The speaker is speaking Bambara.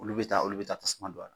Olu bɛ taa olu bɛ taa tasuma don a la